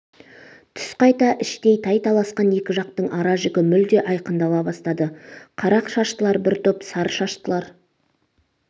түс қайта іштей тай-таласқан екі жақтың ара-жігі мүлде айқындала бастады қара шаштылар бір топ сары шаштылар